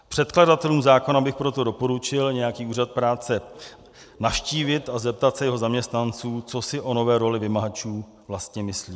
Předkladatelům zákona bych proto doporučil nějaký úřad práce navštívit a zeptat se jeho zaměstnanců, co si o nové roli vymahačů vlastně myslí.